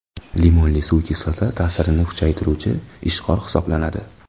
Limonli suv kislota ta’sirini kamaytiruvchi ishqor hisoblanadi.